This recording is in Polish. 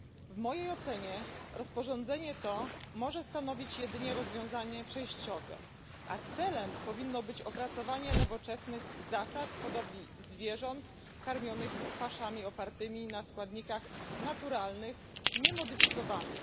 W mojej ocenie rozporządzenie to może stanowić jedynie rozwiązanie przejściowe, a celem powinno być opracowanie nowoczesnych zasad hodowli zwierząt karmionych paszami opartymi na składnikach naturalnych, niemodyfikowanych.